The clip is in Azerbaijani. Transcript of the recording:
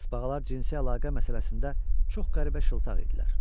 Sbağalar cinsi əlaqə məsələsində çox qəribə şıltaq idilər.